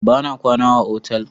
Bana kwana a otal.